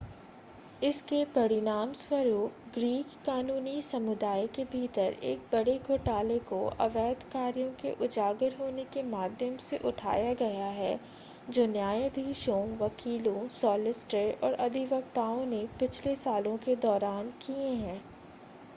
इसके परिणामस्वरूप ग्रीक कानूनी समुदाय के भीतर एक बड़े घोटाले को अवैध कार्यों के उजागर होने के माध्यम से उठाया गया है जो न्यायाधीशों वकीलों सॉलिसिटर और अधिवक्ताओं ने पिछले सालों के दौरान किए हैं